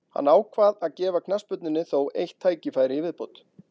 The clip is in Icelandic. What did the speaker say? Hann ákvað að gefa knattspyrnunni þó eitt tækifæri í viðbót.